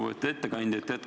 Lugupeetud ettekandja!